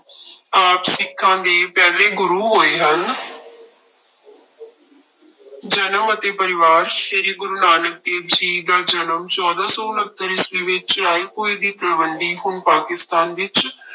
ਆਪ ਸਿੱਖਾਂਂ ਦੇ ਪਹਿਲੇ ਗੁਰੂ ਹੋਏ ਹਨ ਜਨਮ ਅਤੇ ਪਰਿਵਾਰ ਸ੍ਰੀ ਗੁਰੂ ਨਾਨਕ ਦੇਵ ਜੀ ਦਾ ਜਨਮ ਚੌਦਾਂ ਸੌ ਉਣਤਰ ਈਸਵੀ ਵਿੱਚ ਰਾਏਭੋਇ ਦੀ ਤਲਵੰਡੀ ਹੁਣ ਪਾਕਿਸਤਾਨ ਵਿੱਚ